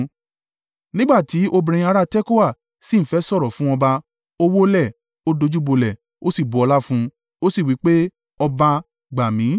Nígbà tí obìnrin àrá Tekoa sì ń fẹ́ sọ̀rọ̀ fún ọba, ó wólẹ̀, ó dojúbolẹ̀, o sí bu ọlá fún un, o sì wí pé, “Ọba, gbà mi.”